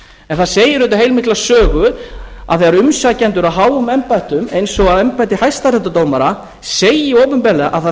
en það segir auðvitað heilmikla sögu að þegar umsækjendur að háum embættum eins og að embætti hæstaréttardómara segja opinberlega að það